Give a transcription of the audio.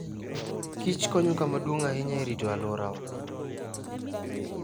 Kich konyo kama duong' ahinya e rito alworawa.